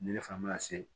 Ni ne fana ma se